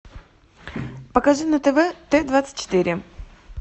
покажи на тв т двадцать четыре